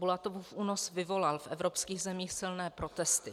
Bulatovův únos vyvolal v evropských zemích silné protesty.